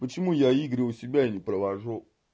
почему я игры у себя не провожу